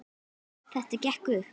Þetta gekk upp.